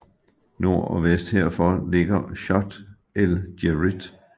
Nord og vest herfor ligger Chott el Djerid